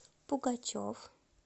пугачев